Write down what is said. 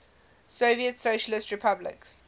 soviet socialist republics